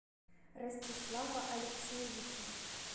ростислава алексеевича